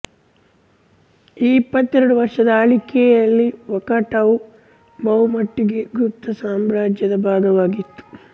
ಈ ಇಪ್ಪತ್ತೆರಡು ವರ್ಷದ ಆಳಿಕೆಯಲ್ಲಿ ವಾಕಾಟಕವು ಬಹುಮಟ್ಟಿಗೆ ಗುಪ್ತ ಸಾಮ್ರಾಜ್ಯದ ಭಾಗವಾಗಿತ್ತು